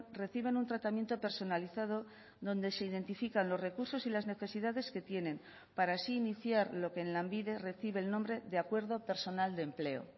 reciben un tratamiento personalizado donde se identifican los recursos y las necesidades que tienen para así iniciar lo que en lanbide recibe el nombre de acuerdo personal de empleo